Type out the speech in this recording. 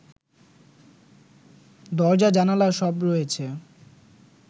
দরজা জানালা সব রয়েছে